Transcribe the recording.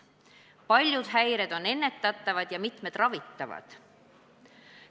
Paljud häired on ennetatavad ja mitmed ka ravitavad.